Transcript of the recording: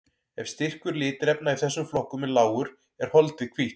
Ef styrkur litarefna í þessum flokkum er lágur er holdið hvítt.